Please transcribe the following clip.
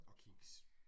Og kiks